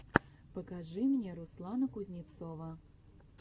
покажи мне руслана кузнецова